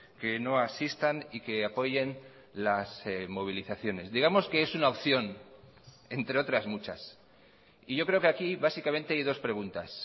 que no asistan y que apoyen las movilizaciones digamos que es una opción entre otras muchas y yo creo que aquí básicamente hay dos preguntas